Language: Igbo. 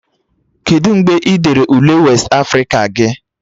Kedu mgbe ị dere Ule westị Afrịka gị?